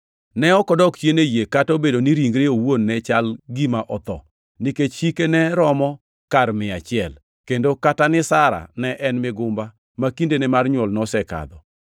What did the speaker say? Ne ok odok chien e yie, kata obedo ni ringre owuon ne chal gima otho, nikech hike ne romo kar mia achiel, kendo kata ni Sara ne en migumba ma kindene mar nywol nosekadho.